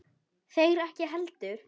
Þeir ekki heldur.